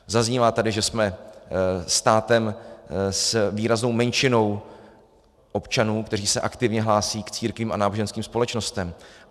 Zaznívá tady, že jsme státem s výraznou menšinou občanů, kteří se aktivně hlásí k církvím a náboženským společnostem.